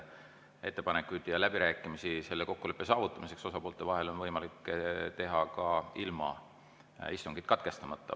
Ettepanekud ja läbirääkimised selle kokkuleppe saavutamiseks osapoolte vahel on võimalikud ka ilma istungit katkestamata.